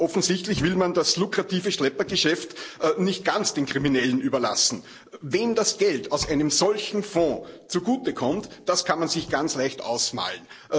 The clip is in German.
Offensichtlich will man das lukrative Schleppergeschäft nicht ganz den Kriminellen überlassen. Wem das Geld aus einem solchen Fonds zugute kommt, das kann man sich ganz leicht ausmalen.